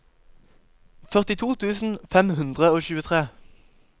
førtito tusen fem hundre og tjuetre